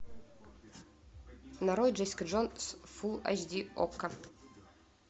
нарой джессика джонс фулл эйч ди окко